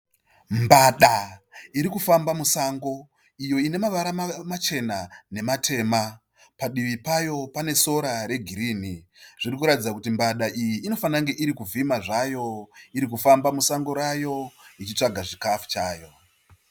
mbada iri kufamba musango iyo ine mavara machena nematema padivi payo pane sora regirirni zviri kuratidza kuti mbada iyi iri kuvhima zvayo, iri kufamba musango rayo, ichitsvaka chikafu chayo.